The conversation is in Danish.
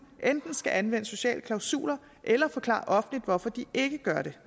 enten skal anvende sociale klausuler eller forklare offentligt hvorfor de ikke gør det